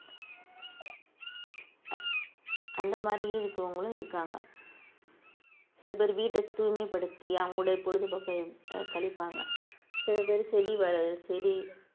அந்த மாதிரி இருக்கிறவங்களும் இருக்காங்க சில பேர் வீட்டை தூய்மைப்படுத்தி அவங்களுடைய பொழுதுபோக்கு ஆஹ் கழிப்பாங்க சில பேரு செடி வ~ செடி